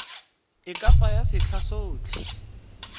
e ka tsaya setlha sotlhe